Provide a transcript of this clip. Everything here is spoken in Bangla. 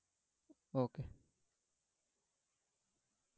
okay